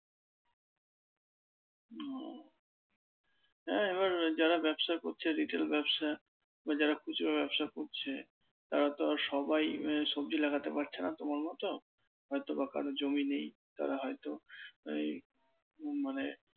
হ্যাঁ এবার যারা ব্যবসা করছে retail ব্যবসা বা যারা খুচরা ব্যবসা করছে তারা তো আর সবাই আহ সবজি লাগাতে পারছে না তোমার মত, হয়তো বা কারো জমি নেই তারা হয়তো এই মানে